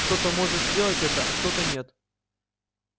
кто-то может сделать это а кто-то нет